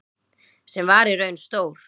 Sem var í raun stór